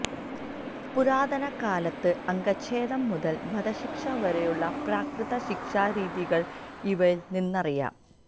പുരാതന കാലത്ത് അംഗച്ഛേദം മുതല് വധശിക്ഷ വരെയുള്ള പ്രാകൃത ശിക്ഷാരീതികള് ഇവയില് നിന്നറിയാം